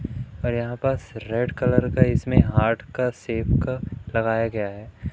और यहां बस रेड कलर का इसमें हार्ट का शेप का लगाया गया है।